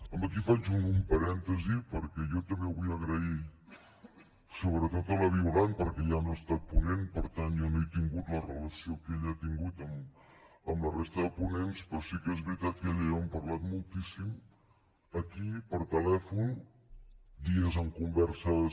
aquí faig un parèntesi perquè jo també vull agrair sobretot a la violant perquè jo no he estat ponent per tant jo no he tingut la relació que ella ha tingut amb la resta de ponents però sí que és veritat que ella i jo hem parlat moltíssim aquí per telèfon dies amb converses